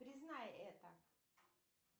признай это